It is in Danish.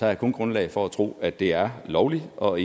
jeg kun grundlag for at tro at det er lovligt og